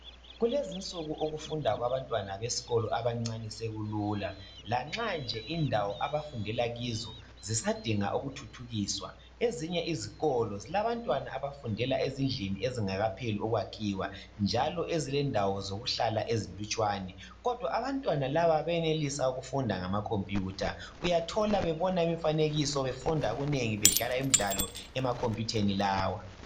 Kulezinsuku ukufunda kwabantwana besikolo abancane sekulula lanxa nje indawo abafundela kizo zisadinga ukuthuthukiswa . Ezinye izikolo zilabantwana abafundela ezindlini ezingakapheli ukwakhiwa njalo ezilendawo zokuhlala ezilutshwane kodwa abantwana laba bayenelisa ukufunda ngamakhompiyutha. Uyathola bebona imifanekiso befunda okunengi bedlala imidlalo emakhompiyutheni lawa.